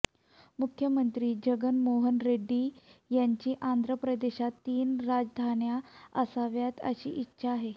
मुख्यमंत्री जगन मोहन रेड्डी यांची आंध्र प्रदेशात तीन राजधान्या असाव्यात अशी इच्छा आहे